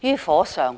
澆在火上。